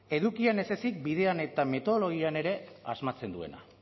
edukian ezezik bidean eta metodologian ere asmatzen duena